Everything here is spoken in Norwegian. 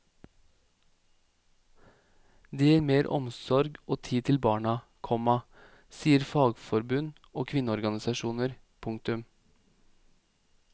Det gir mer omsorg og tid til barna, komma sier fagforbund og kvinneorganisasjoner. punktum